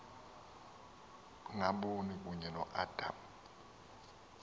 ngaboni kunye noadam